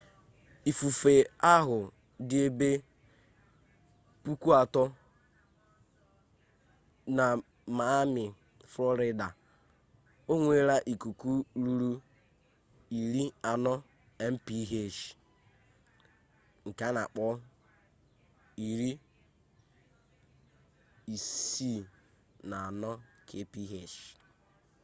ifufe ahu di ebe 3,000miles na miami florida o nwere ikuku ruru 40mph64 kph